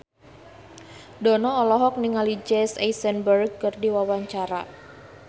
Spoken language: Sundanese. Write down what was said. Dono olohok ningali Jesse Eisenberg keur diwawancara